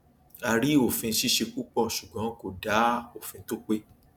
a rí òfin ṣíṣe púpọ ṣùgbọn kò dá òfin tó pé